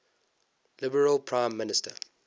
liberal prime minister